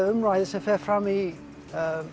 umræðan sem fer fram í